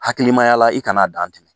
Hakilimaya la i kan'a dantigɛ